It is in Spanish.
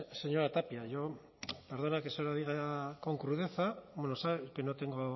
señora tapia yo perdone que se lo diga con crudeza bueno sabe que no tengo